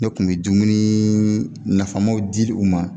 Ne kun me dumunii nafamanw di u ma